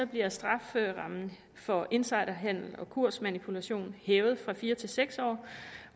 bliver strafferammen for insiderhandel og kursmanipulation hævet fra fire til seks år